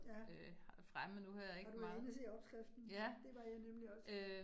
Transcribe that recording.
Ja. Har du været inde og se opskriften? Det var jeg nemlig også